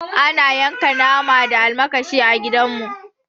Ana yanka nama da almakashi a gida mu